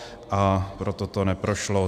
A proto to neprošlo.